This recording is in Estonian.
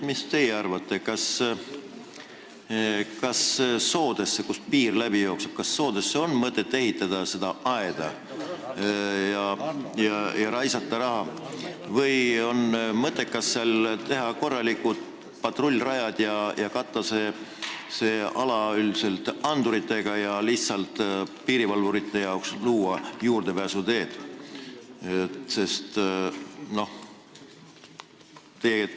Mis teie arvate, kas soodesse, kust piir läbi jookseb, on mõtet seda aeda ehitada ja raha raisata või oleks mõttekas teha sinna korralikud patrullrajad, katta see ala anduritega ja piirivalvurite jaoks luua lihtsalt juurdepääsuteed?